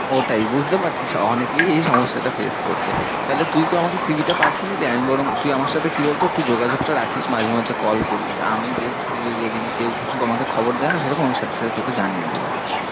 ওটাই বুঝতে পারছি অনেকেই এই সমস্যা টা face করছে, তাহলে তুই তো আমাকে cv টা পাঠিয়ে দিবি, আমি বরং তুই আমার সাথে কি বল তো একটু যোগাযোগ টা রাখিশ মাঝে মধ্যে call করিশ, আর আমি দেখছি যদি এই দিকে কেউ কিছু আমাকে খবর দায়ে না সেরকম, আমি সাথে সাথে তোকে না জানিয়ে দেব।